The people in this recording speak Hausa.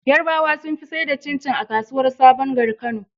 Yarabawa sun fi saida cin cin a kasuwar sabon gari kano